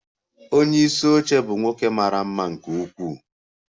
Onye isi oche bụ nwoke mara mma nke ukwuu.